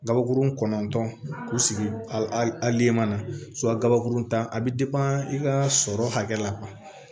Gabakurun kɔɔntɔn k'u sigi a le ma gabakurun ta a bɛ i ka sɔrɔ hakɛ la